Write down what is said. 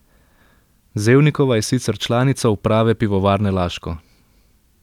Zevnikova je sicer članica uprave Pivovarne Laško.